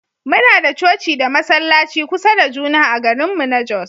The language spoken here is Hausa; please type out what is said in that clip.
Muna da coci da masallaci kusa da juna a garinmu na Jos